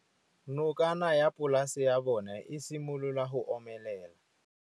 Nokana ya polase ya bona, e simolola go omelela.